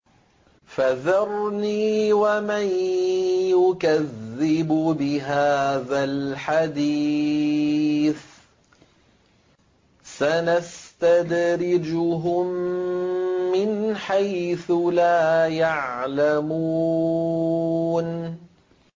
فَذَرْنِي وَمَن يُكَذِّبُ بِهَٰذَا الْحَدِيثِ ۖ سَنَسْتَدْرِجُهُم مِّنْ حَيْثُ لَا يَعْلَمُونَ